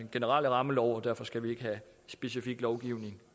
generelle rammelov og derfor skal vi ikke have specifik lovgivning